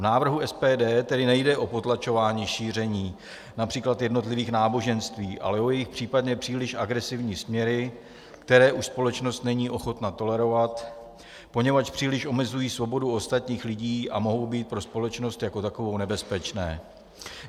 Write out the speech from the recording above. V návrhu SPD tedy nejde o potlačování šíření například jednotlivých náboženství, ale o jejich případně příliš agresivní směry, které už společnost není ochotna tolerovat, poněvadž příliš omezují svobodu ostatních lidí a mohou být pro společnost jako takovou nebezpečné.